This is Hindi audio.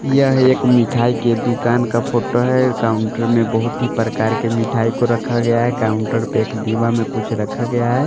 यह एक मिठाई के दुकान का फोटो है काउंटर में बहुत ही प्रकार के मिठाई को रखा गया है काउंटर पे एक दीवा में कुछ रखा गया है।